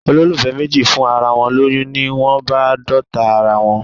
Olólùfẹ́ méjì fún ara wọn lóyún, ni wón bá d'ọ̀tá ara wón.